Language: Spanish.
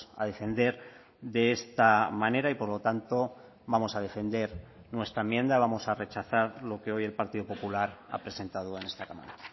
a defender de esta manera y por lo tanto vamos a defender nuestra enmienda vamos a rechazar lo que hoy el partido popular ha presentado en esta cámara